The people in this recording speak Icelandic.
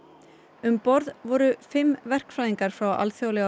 um borð voru fimm verkfræðingar frá alþjóðlega